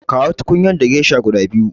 Kawo tukunyar da gesha guda biyu.